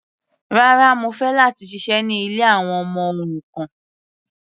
Rárá, mo fẹ́ láti ṣiṣẹ́ ní ilé àwọn ọmọ òrukàn.